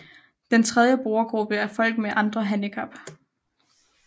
Den tredje brugergruppe er folk med andre handicap